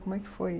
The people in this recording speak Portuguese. Como é que foi?